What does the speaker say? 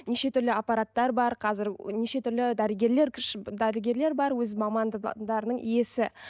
неше түрлі аппараттар бар қазір неше түрлі дәрігерлер дәрігерлер бар өз мамандарының иесі